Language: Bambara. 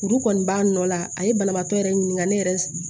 Furu kɔni b'a nɔ la a ye banabaatɔ yɛrɛ ɲininka ne yɛrɛ